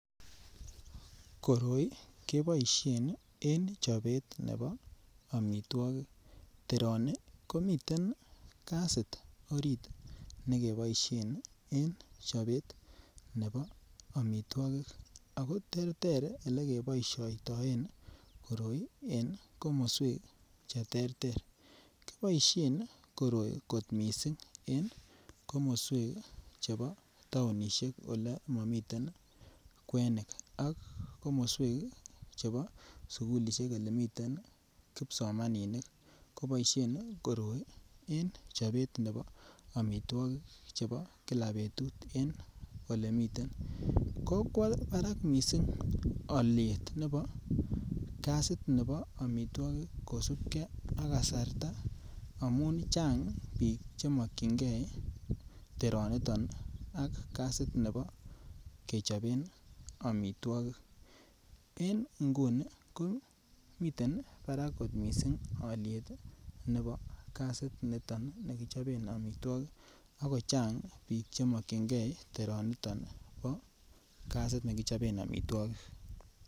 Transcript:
Koroi keboishen en chobet nebo omitwokik, teroni komiten gasit orit ne keboishen en chobet nebo omitwokik ako terter ele keboishoitoen koroi en komoswek che terter, kiboishen koroi kot missing en komoswek chebo tounishek ole momiten kwenik ak komoswek chebo sukulishek ole miten kipsomaninik koboishen koroi en chobet nebo omitwokik chebo Kila betut en ole miten. Kokwo Barak missing olyet nebo gasit nebo omitwokik kosupgee ak kasarta amun Chang biik che mokyingee teroni niton ii ak gasit nebo kechoben omitwokik en nguni ko miten Barak kot missing olyet nebo gasit niton nekichoben omitwokik ako Chang biik che mokyingee teroni niton bo gasit nekichoben omitwokik